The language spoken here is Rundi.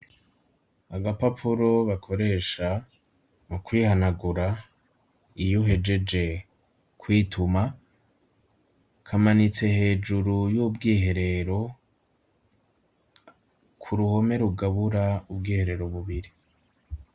Agapapuro bakoresha mu kwihanagura iyo uhejeje kwituma, kamanitse hejuru y'ubwiherero, ku ruhome rugabura ubwiherero bubiri.